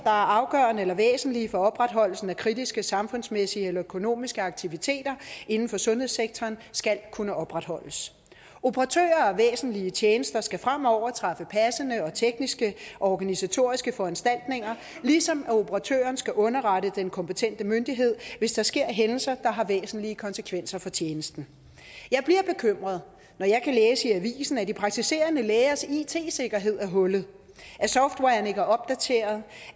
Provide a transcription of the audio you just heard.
er afgørende og væsentlige for opretholdelsen af kritiske samfundsmæssige eller økonomiske aktiviteter inden for sundhedssektoren skal kunne opretholdes operatører af væsentlige tjenester skal fremover træffe passende tekniske og organisatoriske foranstaltninger ligesom operatøren skal underrette den kompetente myndighed hvis der sker hændelser der har væsentlige konsekvenser for tjenesten jeg bliver bekymret når jeg kan læse i avisen at de praktiserende lægers it sikkerhed er hullet at softwaren ikke er opdateret